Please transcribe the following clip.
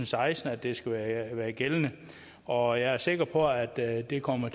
seksten at det skal være gældende og jeg er sikker på at at det kommer